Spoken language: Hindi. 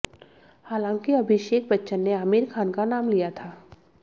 हालांकि अभिषेक बच्चन ने आमिर खान का नाम लिया था